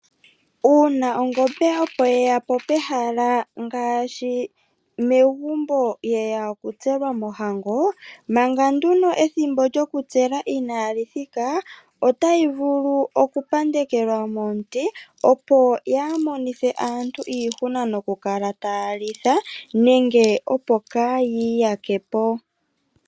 Uuna ongombe opo yeyapo pehala ngaashi megumbo yeya okutselwa mohango ,manga nduno ethimbo lyoku tselwa inali thika otayi vulu oku pandekelwa momuti opo kayi monethe aantu iihuna nokukala taya litha nenge opo kayi iyakepo.